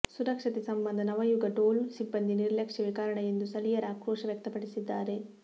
ಸುರಕ್ಷತೆ ಸಂಬಂಧ ನವಯುಗ ಟೋಲ್ ಸಿಬ್ಬಂದಿ ನಿರ್ಲಕ್ಷ್ಯವೇ ಕಾರಣ ಎಂದು ಸ್ಥಳೀಯರ ಆಕ್ರೋಶ ವ್ಯಕ್ತಪಡಿಸಿದ್ದಾರೆ